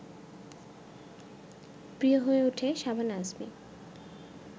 প্রিয় হয়ে ওঠে শাবানা আজমি